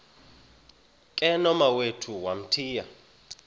ke nomawethu wamthiya